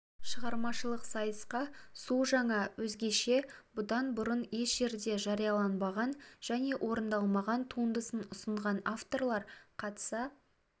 шығармашылық сайысқа су жаңа өзгеше бұдан бұрын еш жерде жарияланбаған және орындалмаған туындысын ұсынған авторлар қатыса